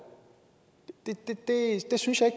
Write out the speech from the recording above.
det synes jeg